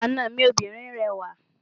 Àna mi obìnrin rẹwà.